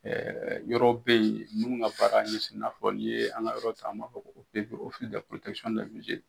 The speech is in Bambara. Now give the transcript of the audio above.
yɔrɔw bɛ ye minnu ka baara ɲɛsin i n'a fɔ n'i ye an ka yɔrɔ ta an m'a fɔ ko